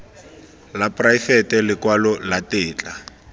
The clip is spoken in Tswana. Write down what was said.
la poraefete lekwalo la tetla